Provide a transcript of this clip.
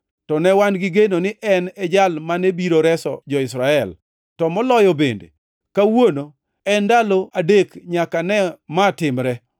to ne wan gi geno ni en e jal mane biro reso jo-Israel. To moloyo bende, kawuono en ndalo adek nyaka ma notimore.